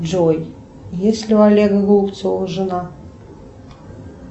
джой есть ли у олега голубцова жена